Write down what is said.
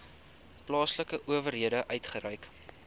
plaaslike owerheid uitgereik